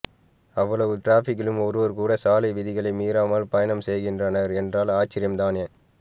அவ்வளவு டிராபிக்கிலும் ஒருவர் கூட சாலை விதிகளை மீறாமல் பயணம் செய்கின்றனர் என்றால் ஆச்சரியம் தானே